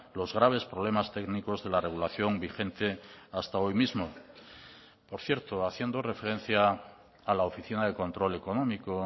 los graves problemas técnicos de la regulación vigente hasta hoy mismo por cierto haciendo referencia a la oficina de control económico